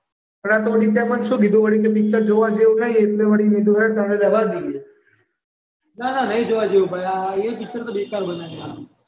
ના ના આતો વિશાલે મને કીધું વળી પિક્ચર જોવા જેવું નહીં એટલે વળી મેં કીધું હેડ તાણ રહેવા દઈએ ના ના નઈ જોવા જેવું એ પિક્ચર બેકાર બનાયુ